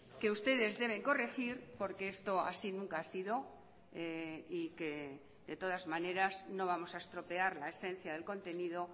que ustedes deben corregir porque esto así nunca ha sido y que de todas maneras no vamos a estropear la esencia del contenido